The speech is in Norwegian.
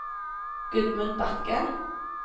Gudmund Bakke